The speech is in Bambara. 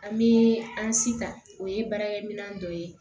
An bɛ an sitan o ye baarakɛminɛn dɔ ye